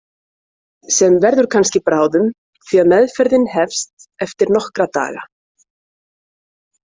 Sem verður kannski bráðum, því að meðferðin hefst eftir nokkra daga.